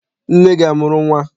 Nne gị amụrụ nnwa?